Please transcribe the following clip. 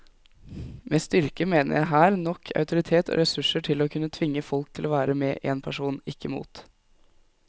Med styrke mener jeg her nok autoritet og ressurser til å kunne tvinge folk til å være med en person, ikke mot.